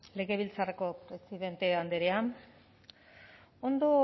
legebiltzarreko presidente andrea ondo